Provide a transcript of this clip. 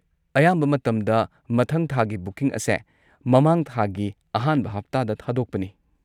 ꯑꯌꯥꯝꯕ ꯃꯇꯝꯗ ꯃꯊꯪ ꯊꯥꯒꯤ ꯕꯨꯀꯤꯡ ꯑꯁꯦ ꯃꯃꯥꯡ ꯊꯥꯒꯤ ꯑꯍꯥꯟꯕ ꯍꯞꯇꯥꯗ ꯊꯥꯗꯣꯛꯄꯅꯤ꯫